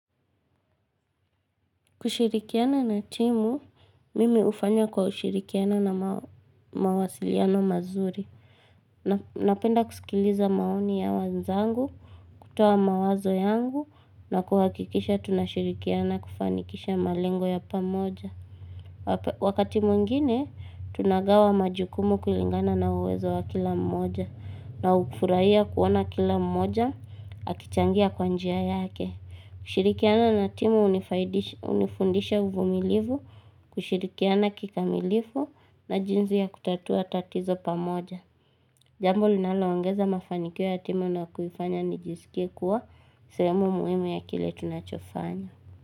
Kushirikiana na timu, mimi ufanya kwa ushirikiana na mawasiliano mazuri. Napenda kusikiliza maoni ya wenzangu, kutoa mawazo yangu, na kuhakikisha tunashirikiana kufanikisha malengo ya pamoja. Wakati mwingine, tunagawa majukumu kulingana na uwezo wa kila mmoja, na ukufurahia kuona kila mmoja, akichangia kwa njia yake. Kushirikiana na timu unifundisha uvumilivu, kushirikiana kikamilifu na jinzi ya kutatua tatizo pamoja Jambo linaloongeza mafanikio ya timu na kunifanya nijisikea kuwa sehemu muhimu ya kile tunachofanya.